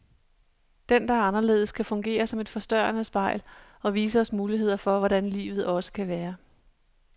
Den, der er anderledes, kan fungere som et forstørrende spejl, og vise os muligheder for hvordan livet også kan være.